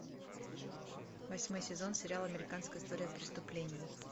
восьмой сезон сериала американская история преступлений